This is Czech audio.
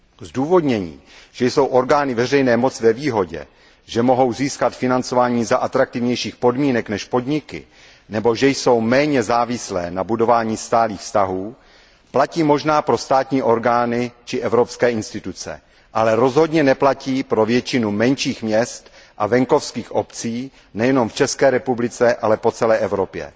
Zdůvodnění, že orgány veřejné moci jsou ve výhodě, že mohou získat financování za atraktivnějších podmínek než podniky nebo že jsou méně závislé na budování stálých vztahů, platí možná pro státní orgány či evropské instituce, ale rozhodně neplatí pro většinu menších měst a venkovských obcí nejenom v České republice, ale po celé Evropě.